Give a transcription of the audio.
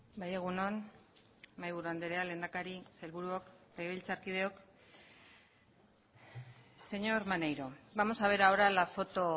bai egun on mahaiburu andrea lehendakari sailburuok legebiltzarkideok señor maneiro vamos a ver ahora la foto